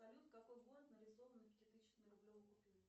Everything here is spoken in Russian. салют какой город нарисован на пятитысячной рублевой купюре